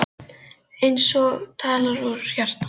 Eins og talað úr hans hjarta.